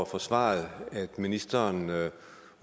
for svaret at ministeren